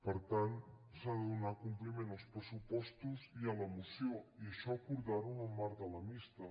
per tant s’ha de donar com·pliment als pressupostos i a la moció i això acordar·ho en el marc de la mixta